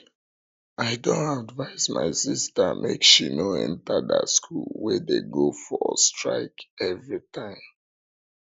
i don advice my sister make she no enter dat school wey dey go for strike everytime